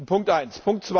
Punkt eins.